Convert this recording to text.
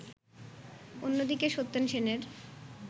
অন্যদিকে সত্যেন সেনের